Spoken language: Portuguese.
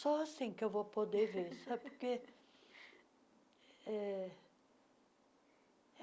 Só assim que eu vou poder ver, sabe por quê? é